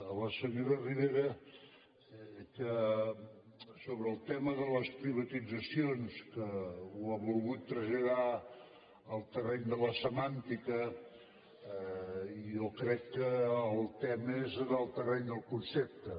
a la senyora ribera sobre el tema de les privatitzacions que ho ha volgut traslladar al terreny de la semàntica i jo crec que el tema és en el terreny del concepte